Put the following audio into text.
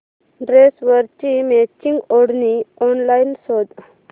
ड्रेसवरची मॅचिंग ओढणी ऑनलाइन शोध